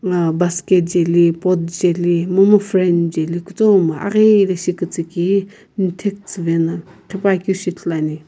na basket jaeli pot jaeli momu fram jali kutomo aghilishi kiistii kihe mathae tsiivae na ghi pakeu ithulu ane.